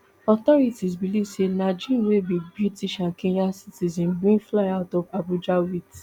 authorities believe say najeem wey be british and kenyan citizen bin fly out of abuja wit